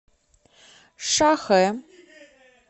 шахэ